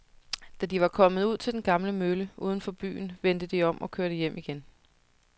Da de var kommet ud til den gamle mølle uden for byen, vendte de om og kørte hjem igen.